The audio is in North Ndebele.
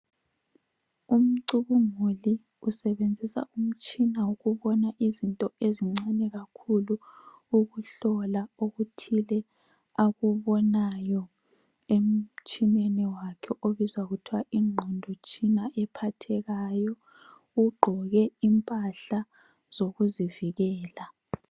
Umcubunguli usebenzisa umtshina wokubona izinto ezincane kakhulu ukuhlola okuthile akubonayo emtshineni wakhe obizwa kuthiwa yingqondotshina ephathekayo, ugqoke impahla zokuzivikela.